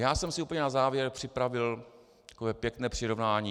Já jsem si úplně na závěr připravil takové pěkné přirovnání.